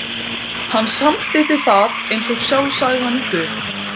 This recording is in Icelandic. Hann samþykkti það eins og sjálfsagðan hlut.